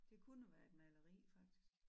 Det kunne være et maleri faktisk